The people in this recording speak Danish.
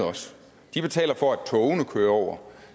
de betaler for at togene kører over